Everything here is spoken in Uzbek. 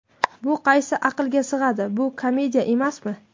Bu qaysi aqlga sig‘adi, bu komediya emasmi?